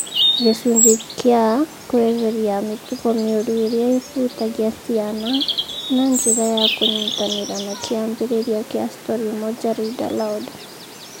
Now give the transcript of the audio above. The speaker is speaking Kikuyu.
Gĩcunjĩ kĩa "kweheria mĩtugo mĩũru ĩrĩa ĩhutagia ciana" na njĩra ya kũnyitanĩra na kĩambĩrĩria kĩa Storymoja Read Aloud